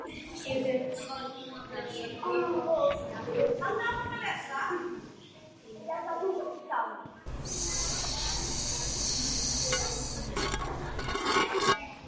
Skömmu síðar er hann kominn aftur með brennivín og hálfvolgt hveravatn í könnu.